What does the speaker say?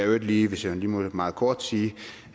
øvrigt lige hvis jeg må meget kort sige